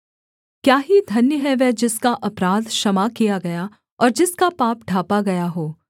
क्या ही धन्य है वह जिसका अपराध क्षमा किया गया और जिसका पाप ढाँपा गया हो